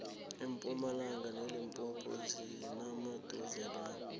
impumalanga nelimpopo zisemaduzelana